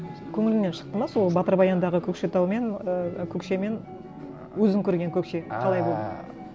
көңіліңнен шықты ма сол батыр баяндағы көкшетау мен ыыы көкше мен өзің көрген көкше қалай болды